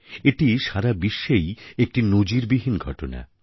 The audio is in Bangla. এটি সারা বিশ্বেই একটি নজীর বিহীন ঘটনা